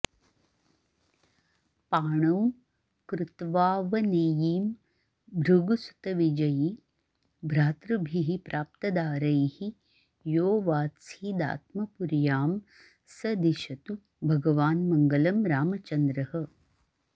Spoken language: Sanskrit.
पाणौ कृत्वावनेयीं भृगुसुतविजयी भ्रातृभिः प्राप्तदारैः योऽवात्सीदात्मपुर्यां स दिशतु भगवान् मङ्गलं रामचन्द्रः